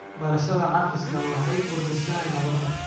Barashada cafiska waxay kordhisaa nabadda.